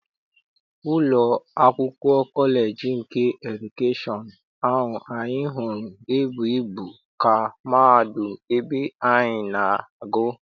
Ụlọ akwụkwọ kọleji nke edukeshọn ahụ anyị hụrụ e bụghị ibu ka mahadum ebe anyị na-agụ.